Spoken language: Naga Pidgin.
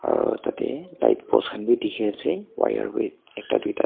aru tatae light post khan bi dikhiase wire bi ekta duita--